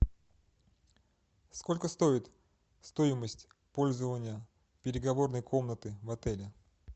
сколько стоит стоимость пользования переговорной комнаты в отеле